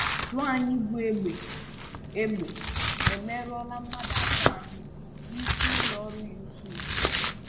Nwanyí bú egbe egbe emerụọla mmadụ atọ ahụ n’isi ụlọ ọrụ YouTube.